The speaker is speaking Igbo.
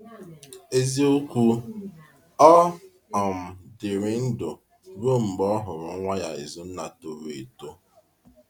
Eziokwu, ọ um dịrị ndụ ruo mgbe ọ hụrụ nwa ya Ízùnna toro eto.